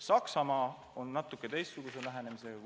Saksamaa on natuke teistsuguse lähenemisega.